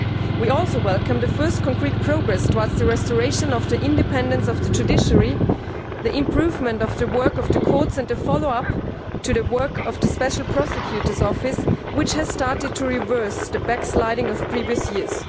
We also welcome the first concrete progress towards the restoration of the independence of the judiciary, the improvement of the work of the courts, and a follow up to the work of the Special Prosecutor's office, which has started to reverse the backsliding of previous years.